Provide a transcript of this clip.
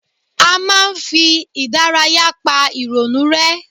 A máa ń fi ìdárayá pa ìrònú rẹ́